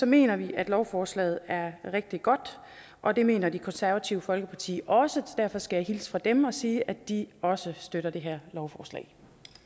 mener vi at lovforslaget er rigtig godt og det mener det konservative folkeparti også så derfor skal jeg hilse fra dem og sige at de også støtter det her lovforslag